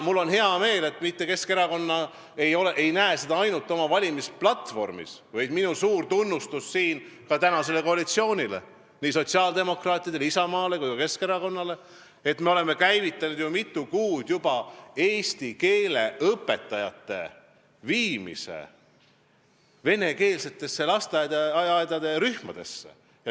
Mul on hea meel, et Keskerakond ei ole seda pannud ainult oma valimisplatvormi, minu suur tunnustus ka tänasele koalitsioonile, nii sotsiaaldemokraatidele, Isamaale kui ka Keskerakonnale, et me oleme juba mitu kuud tagasi käivitanud eesti keele õpetajate viimise venekeelsetesse lasteaiarühmadesse.